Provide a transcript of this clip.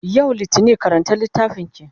yau littani karanta littafinki!